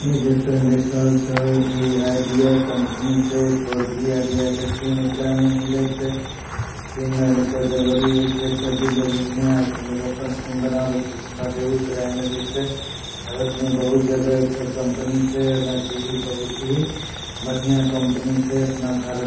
ई जे तोय देख रहल छा आ_ई_डि_या कंपनी छै फोर जी आ_ई_डि_या के सिम एकरा में मिले छै सिम में अगर कोई गड़बड़ी होय छै तो भी लोग यहां आओ लोग अपन सिम बनावे छै हमरा बेगुसराय में भी छै भारत में बहुत जगह एकर कंपनी छै हलाकि यही बहुत ही बढ़िया कंपनी छै अपना भारत--